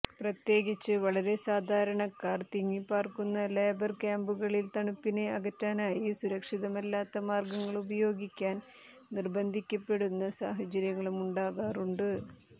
പ്രത്യേകിച്ച് വളരെ സാധാരണക്കാർ തിങ്ങിപാർക്കുന്ന ലേബർ ക്യാന്പുകളിൽ തണുപ്പിനെ അകറ്റാനായി സുരക്ഷിതമല്ലാത്ത മാർഗങ്ങളുപയോഗിക്കാൻ നിർബദ്ധിക്കപ്പെടുന്ന സാഹചര്യമുണ്ടാകാറുണ്ട്